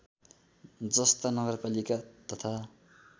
जस्ता नगरपालिका तथा